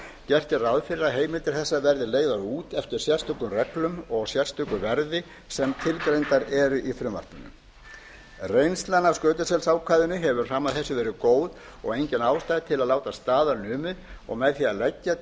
gert er ráð fyrir að heimildir þessar verði leigðar út eftir sérstökum reglum og sérstöku verði sem tilgreindar verði í frumvarpinu reynslan af skötuselsákvæðinu hefur fram að þessu verið góð og engin ástæða til að láta staðar numið og með því að leggja